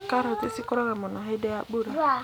Karoti cikũraga mũno hindĩ ya mbura.